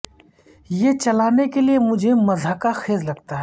یہ چلانے کے لئے مجھے مضحکہ خیز لگتا ہے